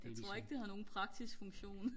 jeg tror ikke det har nogen praktisk funktion